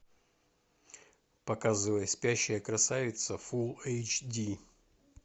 показывай спящая красавица фул эйч ди